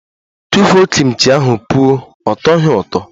Tụfuo Kim chi ahụ pụọ! Ọ tọghi ụtọ.